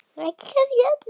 Ekki kannski öllu.